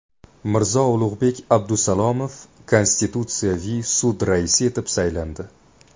Mirzo-Ulug‘bek Abdusalomov Konstitutsiyaviy sud raisi etib saylandi.